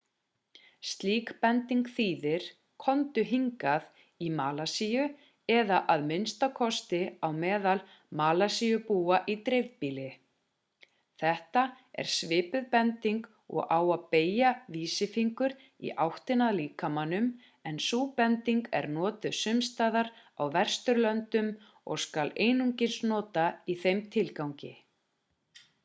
slík bending þýðir komdu hingað í malasíu eða að minnsta kosti á meðal malasíubúa í dreifbýli þetta er svipuð bending og að beygja vísifingur í áttina að líkamanum en sú bending er notuð sumstaðar á vesturlöndum og skal einungis nota í þeim tilgangi